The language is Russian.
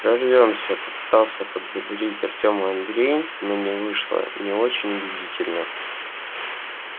прорвёмся попытался подбодрить артёма андрей но не вышло не очень убедительно